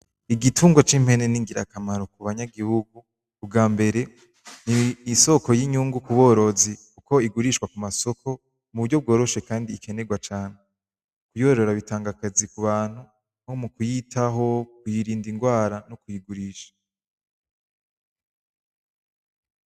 Igitungwa c'impene ningira kamaro ku banyagihugu ubwambere n'isoko y'inyungu ku borozi kuko igurishwa ku masoko mu buryo bworoshe kandi ikenerwa cane kuyorora bitanga akazi ku bantu nko mu kuyitaho, ku yirinda ingwara no ku yigurisha.